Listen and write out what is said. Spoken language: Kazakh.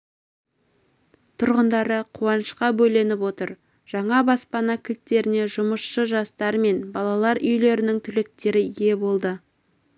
тұрғындары қуанышқа бөленіп отыр жаңа баспана кілттеріне жұмысшы жастар мен балалар үйлерінің түлектері ие болды